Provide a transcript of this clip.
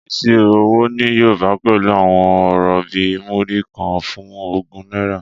Ìṣirò owó ní Yorùbá pẹ̀lú àwọn ọ̀rọ̀ bíi Múrí kan fún ogún náírà.